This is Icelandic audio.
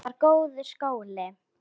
Þetta var góður skóli.